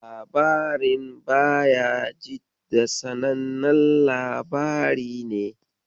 Labarin Bahajidda sanannen labari ne.